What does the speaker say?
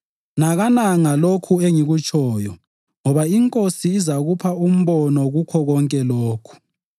Nakana ngalokho engikutshoyo ngoba iNkosi izakupha umbono kukho konke lokhu.